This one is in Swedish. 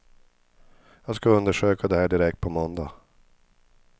Jag ska undersöka det här direkt på måndag.